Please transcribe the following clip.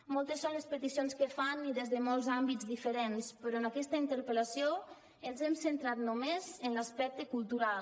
moltes són les peticions que fan i des de molts àmbits diferents però en aquesta interpel·lació ens hem centrat només en l’aspecte cultural